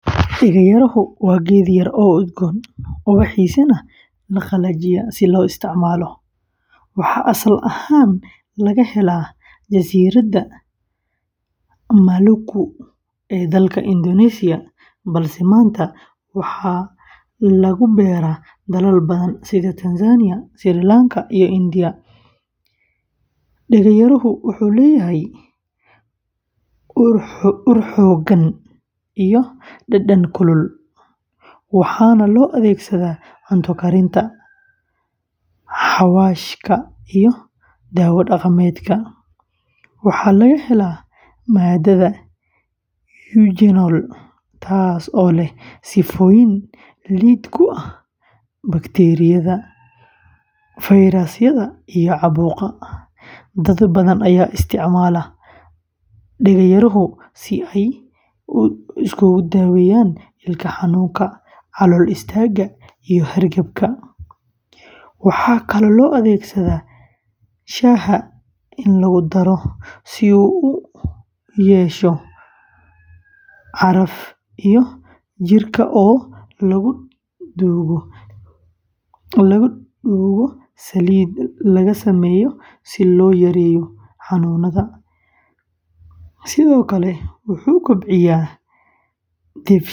Dega yarahu waa geed yar oo udgoon, ubaxdiisana la qalajiyo si loo isticmaalo. Waxaa asal ahaan laga helaa Jasiiradaha Maluku ee dalka Indonesia, balse maanta waxaa lagu beeraa dalal badan sida Tanzania, Sri Lanka, iyo India. Dega yarahu wuxuu leeyahay ur xooggan iyo dhadhan kulul, waxaana loo adeegsadaa cunto karinta, xawaashka, iyo daawo dhaqameedka. Waxaa laga helaa maadada eugenol, taasoo leh sifooyin lid ku ah bakteeriyada, fayrasyada, iyo caabuqa. Dad badan ayaa isticmaala Dega yarahu si ay u daaweeyaan ilko xanuunka, calool istaagga, iyo hargabka. Waxaa kaloo loo adeegsadaa shaaha lagu daro si uu u ur yeesho iyo jirka oo lagu duugo saliid laga sameeyo si loo yareeyo xanuunada. Sidoo kale wuxuu kobciyaa dheefshiidka.